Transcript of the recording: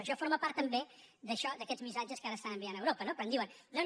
això forma part també d’això d’aquests missatges que ara estan enviant a europa quan diuen no no